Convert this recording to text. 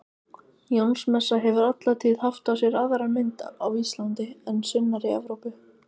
Jónsmessa hefur alla tíð haft á sér aðra mynd á Íslandi en sunnar í Evrópu.